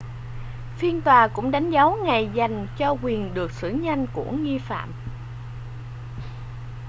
phiên tòa cũng đánh dấu ngày dành cho quyền được xử nhanh của nghi phạm